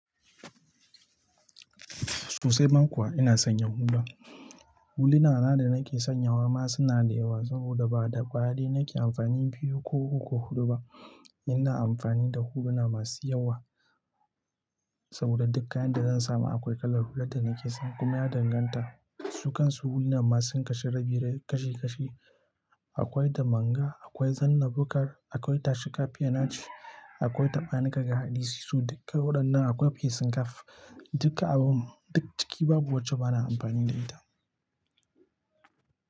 Susai ban kuwa ina sanya hula. Hulinana da nake sanyawa ma suna da yawa saboda ba da kwaya daya nake amfani biyu ko uku huɗu ba. Ina amfani da huluna masu yawa saboda duk kayan da zan samu akwai kalar hular da nake son kuma ya danganta su kan su huluna masu kashin rabirin kashi kashi. Akwai da manga, akwai zanna bukkar, akwai tashi kafiyanaci, akwai taɓanika ga hadisi su duka waɗannan akwai fiyesin kaf. Duka abu duk ciki babu wacce bana amfani da ita.